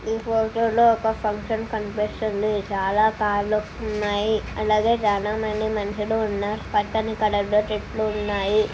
ఈ ఫొటో లో ఒక ఫంక్షన్ కనిపిస్తుంది చాలా కార్లు ఉన్నాయి అలాగే చాలా మంది మనుషులున్న పచ్చని కూర్ లో చెట్టులు ఉన్నాయి.